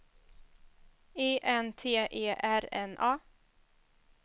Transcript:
I N T E R N A